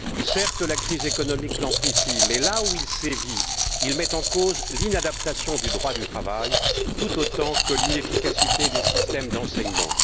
Certes, la crise économique l'amplifie mais, là où il sévit, il met en cause l'inadaptation du droit du travail, tout autant que l'inefficacité des systèmes d'enseignement.